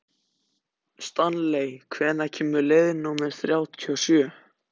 Stanley, hvenær kemur leið númer þrjátíu og sjö?